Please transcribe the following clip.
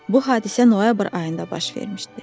Bu hadisə noyabr ayında baş vermişdi.